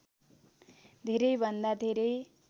धेरैभन्दा धेरै